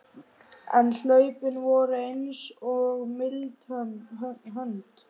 En hlaupin voru eins og mild hönd